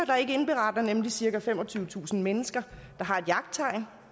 der nemlig cirka femogtyvetusind mennesker der har et jagttegn